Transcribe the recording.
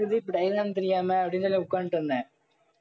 diagram தெரியாம அப்படின்னுத உட்கார்ந்துட்டு இருந்தேன்